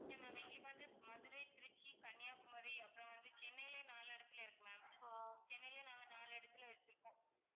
இல்ல ma'am எங்களுக்கு வந்து மதுரை, திருச்சி, கன்னியாக்குமரி அப்பறம் வந்து சென்னைலயும் நாலு இடத்தில இருக்கு ma'am சென்னைலயும் நாங்க நாலு இடத்துல வச்சுருக்கோம்.